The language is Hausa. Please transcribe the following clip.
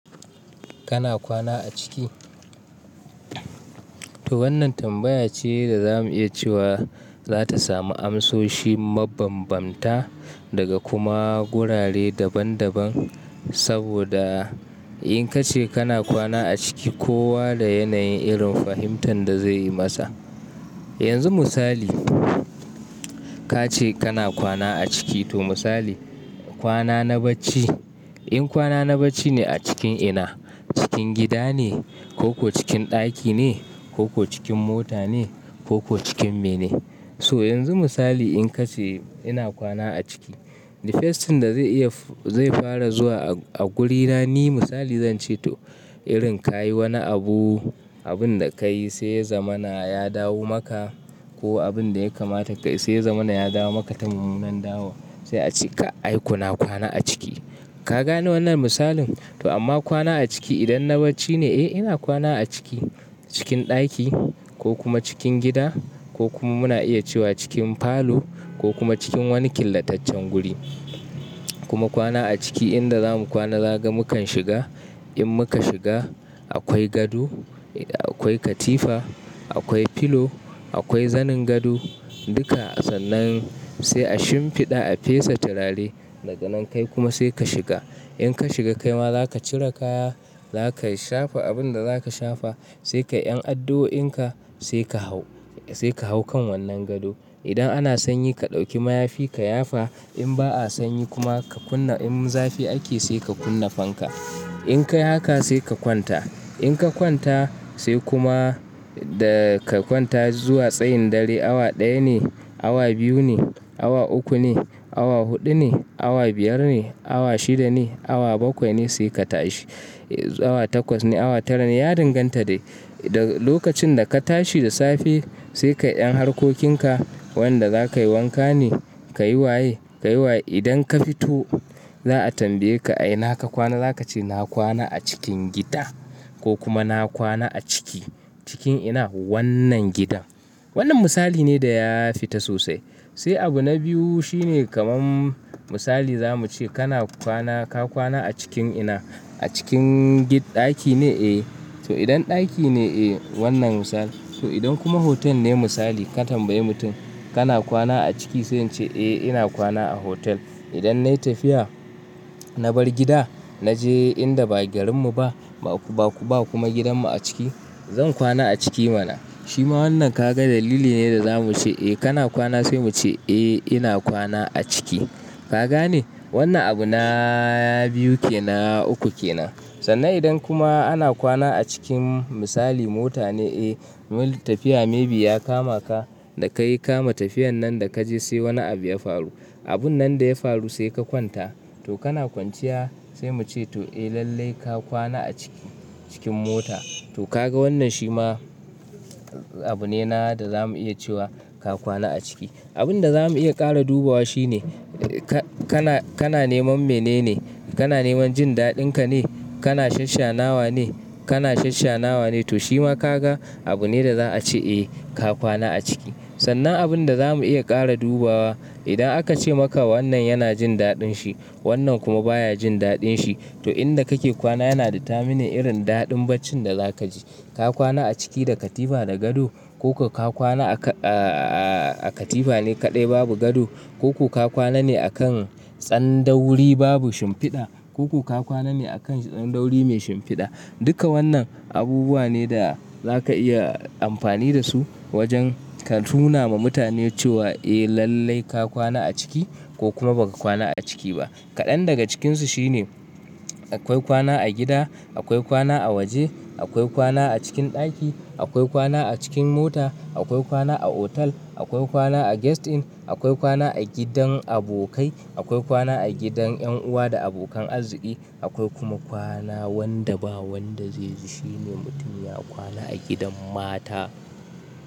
Kana kwana a ciki? To wannan tambaya ce da za mu iya cewa za ta samu amsoshi mabanbamta daga kuma gurare daban-daban. Saboda in ka ce kana kwana a ciki, kowa da yanayin irin fahimtar da zai yi masa. Yanzu misali, ka ce kana kwana a ciki to misali, kwana na bacci. In kwana na bacci ne a cikin ina? Cikin gida ne, ko ko cikin ɗaki ne, ko ko cikin mota ne, ko ko cikin me ne? So yanzu misali in ka ce ina kwana a ciki, the first thing da zai iya-- zai fara zuwa a guri na, ni misali zan ce to irin ka yi wani abu, abun da ka yi sai zamana ya dawo maka ko abun da ya kamata ka yi sai zamana ya dawo maka ta mummunan dawo, sai a ce ka, ai kuna kwana a ciki. Ka gane wannan misalin? To amma kwana a ciki idan na bacci ne, eh ina kwana a ciki, cikin ɗaki ko kuma cikin gida ko kuma muna iya cewa cikin falo ko kuma cikin wani killataccen guri. Kuma kwana a ciki inda zamu kwana za kaga mukan shiga. In muka shiga akwai gado, akwai katifa, akwai filo, akwai zanin gado, duka. Sannan sai a shimfiɗa, a fesa turare. Daga nan kai kuma sai ka shiga. In ka shiga kai ma za ka cire kaya, za ka shafa abin da za ka shafa, sai ka 'yan addo'inka sai ka hau, sai ka hau kan wannan gado. Idan ana sanyi ka ɗauki mayafi ka yafa. In ba a sanyi kuma ka kunna-- in zafi ake sai ka kunna fanka. In ka yi haka sai ka kwanta. In ka kwanta sai kuma da ka kwanta zuwa tsayin dare, awa ɗaya ne, awa biyu ne, awa uku ne, awa huɗu ne, awa biyar ne, awa shida ne, awa bakwai ne sai ka tashi. Awa takwas ne, awa tara ne, ya danganta dai. Da lokacin da ka tashi da safe sai ka 'yan harkokinka wanda za ka yi wanka ne, ka yi waye, ka yi waye. Idan ka fito za a tambaye ka, "Ai naka kwana?" Za ka ce, "na kwana a cikin gida ko kuma na kwana a ciki, cikin ina? Wannnan gidan." Wannan misali ne da ya fita sosai. Sai abu na biyu shine kaman misali za mu ce kana kwana, ka kwana a cikin ina? A cikin gi-- ɗaki ne? Eh. So idan ɗaki ne, eh wannan misali. So idan kuma hotel ne misali ka tambayi mutum, "Kana kwana a ciki?" Sai in ce, "Eh ina kwana a hotel." Idan na yi tafiya, na bar gida, na je inda ba garinmu ba, ba ku, ba kuma gidanmu a ciki, zan kwana a ciki mana. Shi ma wannan ka ga dalili ne da za mu ce, "Eh kana kwana," sai mu ce, "Eh ina kwana a ciki." Ka gane? Wannan abu na biyu ke na, uku ke nan. Sannan idan kuma ana kwana a cikin misali mota ne eh, wani tafiya maybe ya kama ka da ka yi kama tafiyan nan da ka je sai wani abu ya faru. Abun nan da ya faru sai ka kwanta. To kana kwanciya sai mu ce to, "Eh lallai ka kwana a ciki, cikin mota." To ka ga wannan shi ma abu ne na da za mu iya cewa ka kwana a ciki. Abun da za mu iya ƙara dubawa shi ne, ka, kana, kana neman mene ne? Kana neman jin daɗin ka ne, kana shasshanawa ne, kana shasshanawa ne? To shi ma ka ga abu ne da za a ce, "Eh ka kwana a ciki." Sannan abin da za mu iya ƙara dubawa, idan aka ce maka wannan yana jin daɗin shi, wannan kuma baya jin daɗin shi, to inda kake kwana yana determining irin daɗin bacin da za ka ji. Ka kwana a ciki da katifa da gado ko ko ka kwana a ka-- a, a katifa ne kaɗai babu gado ko ko ka kwana ne a kan tsan da wuri babu shimfiɗa, ko ko ka kwana ne a kan tsan da wuri mai shimfiɗa. Duka wannan abubuwa ne da za ka iya amfani da su wajen ka nuna ma mutane cewa, "Eh lallai ka kwana a ciki ko kuma ba ka kwana a ciki ba." Kaɗan daga cikinsu shi ne akwai kwana a gida, akwai kwana a waje, akwai kwana a cikin ɗaki, akwai kwana a cikin mota, akwai kwana a hotel, akwai kwana a guest inn, akwai kwana a gidan abokai, akwai kwana a gidan 'yan uwa da abokan arziki, akwai kuma kwana wanda ba wanda zai ji. Shi ne mutum ya kwana a gidan mata.